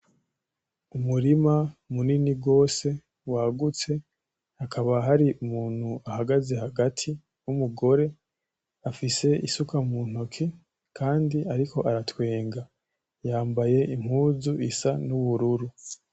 Umurima munini gose wagutse hakaba hari umuntu ahagaze hagati wumugore afise isuka muntoki Kandi akaba ariko aratwenga yambaye impuzu isa nubururu.